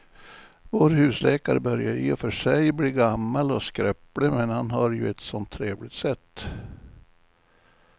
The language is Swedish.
Vår husläkare börjar i och för sig bli gammal och skröplig, men han har ju ett sådant trevligt sätt!